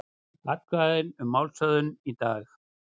Atkvæði um málshöfðun í dag